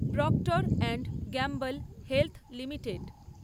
proctor and Gamble health limited